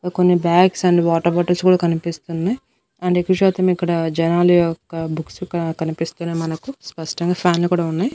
కొన్ని bags and water bottles కూడా కనిపిస్తున్నాయి ఆండ్ ఎక్కువ శాతం ఇక్కడ జనాల యొక్క బుక్స్ ఇక్కడ కనిపిస్తున్నాయి మనకు స్పష్టంగా ఫ్యాన్ లు కూడా ఉన్నాయి.